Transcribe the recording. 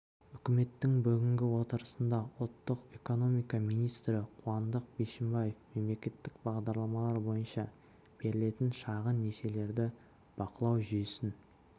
үкіметтің бүгінгі отырысында ұлттық экономика министрі қуандық бишімбаев мемлекеттік бағдарламалар бойынша берілетін шағын несиелерді бақылау жүйесін